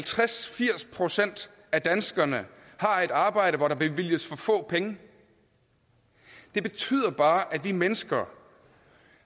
firs procent af danskerne har et arbejde hvor der bevilges for få penge det betyder bare at vi mennesker